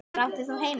Hvar átt þú heima?